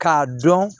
K'a dɔn